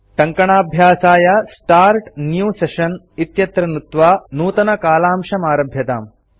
टङ्कणाभ्यासाय start new session इत्यत्र नुत्त्वा नूतनकालांशमारभ्यताम्